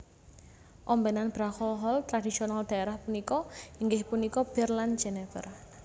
Ombenan beralkohol tradisional daerah punika inggih punika bir lan Jenever